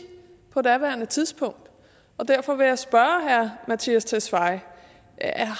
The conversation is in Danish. på daværende tidspunkt og derfor vil jeg spørge herre mattias tesfaye